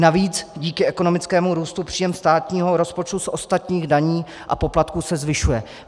Navíc díky ekonomickému růstu příjem státního rozpočtu z ostatních daní a poplatků se zvyšuje.